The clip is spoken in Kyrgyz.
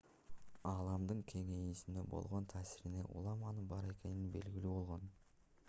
ааламдын кеңейүүсүнө болгон таасиринен улам анын бар экени белгилүү болгон